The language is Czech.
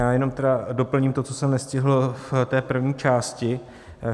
Já jenom tedy doplním to, co jsem nestihl v té první části.